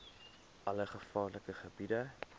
alle gevaarlike gebiede